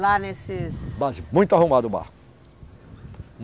Lá nesses. Barzinho, muito arrumado o bar.